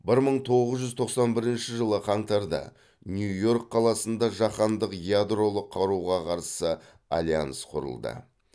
бір мың тоғыз жүз тоқсан бірінші жылы қаңтарда нью йорк қаласында жаһандық ядролық қаруға қарсы альянс құрылды